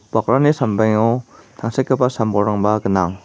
bakrani sambengo tangsekgipa sam-bolrangba gnang.